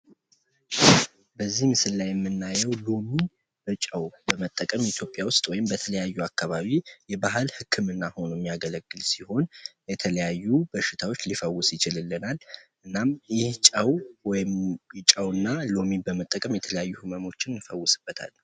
በዚህ ምስል ላይ የምናየው ሎሚ በ ጨው ኢትዮጵያ ውስጥ ወይም በተለያዩ አካባቢ የባህል ህክምና ሆኖ የሚያገለግል ሲሆን። የተለያዪ በሽታዎች ሊፈውስልን ይችላል። እናም ይህን በመጠቀም የተለያዪ ህመሞችን እንፈውስበታለን።